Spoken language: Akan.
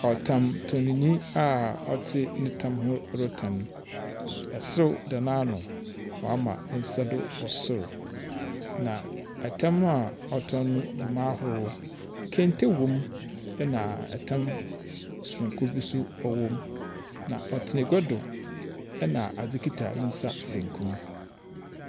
Ɔtamtɔnnyi a ɔte ne tam retɔn. Serew da n'ano. Wama ne nsa do wɔ sor. Na tam a ɔtɔn no gu mu ahorow. Kente wom. Na tam sononko bi nso wɔ mu. Na ɔtena agua do na adze kita ne nsa benkum.